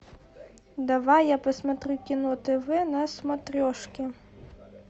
давай я посмотрю кино тв на смотрешке